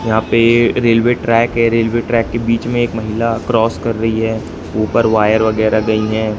यहां पे railway track है रेलवे ट्रैक के बीच में एक महिला क्रॉस कर रही है ऊपर वायर वगैरह गई हैं।